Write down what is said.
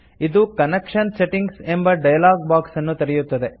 ಇದು connection settings ಎಂಬ dialogue box ಅನ್ನು ತೆರೆಯುತ್ತದೆ